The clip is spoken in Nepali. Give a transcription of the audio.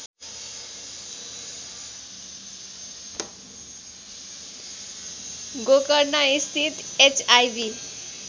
गोकर्णस्थित एचआईभी